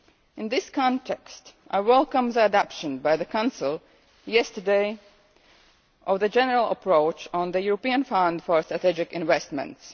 In this context, I welcome the adoption by the Council yesterday of the general approach on the European Fund for Strategic Investments.